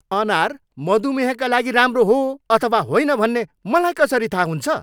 अनार मधुमेहका लागि राम्रो हो अथवा होइन भन्ने मलाई कसरी थाहा हुन्छ?